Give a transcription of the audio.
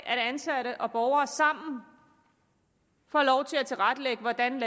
ansatte og borgere sammen få lov til at tilrettelægge hvordan